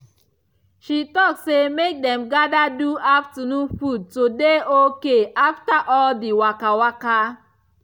she talk say make dem gather do small afternoon food to dey okay after all the waka waka